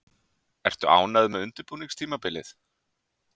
Ertu ánægð með undirbúningstímabilið?